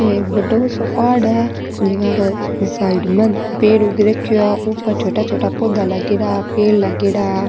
ओ एक बड़ों सो पहाड़ है जका के साइड में पेड़ उग रखो है ऊपर छोटा छोटा पौधा लागेड़ा पेड़ लागेड़ा।